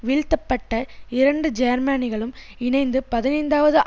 வீழ்த்தப்பட்ட இரண்டு ஜேர்மனிகளும் இணைந்து பதினைந்தாவது